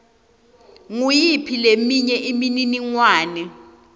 nguyiphi leminye imininingwane